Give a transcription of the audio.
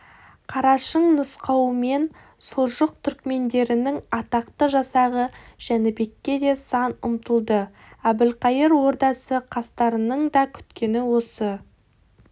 қарашың нұсқауымен сұлжық түрікмендерінің атақты жасағы жәнібекке де сан ұмтылды әбілқайыр ордасы қастарының да күткені осы